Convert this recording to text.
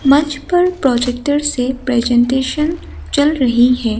मंच पर प्रोजेक्टर से प्रेजेंटेशन चल रही है।